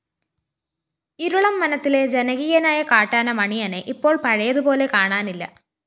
ഇരുളം വനത്തിലെ ജനകീയനായ കാട്ടാന മണിയനെ ഇപ്പോള്‍ പഴയതുപോലെ കാണാനില്ല